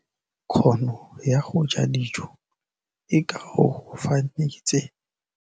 Kganô ya go ja dijo e koafaditse mmele wa molwetse.